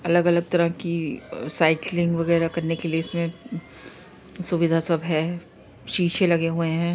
अलग अलग तरह की अ साइकिलिंग वगेरा करने के लिए इसमें सुविधा सब है शीशे लगे हुये हैं।